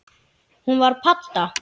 Hún var padda.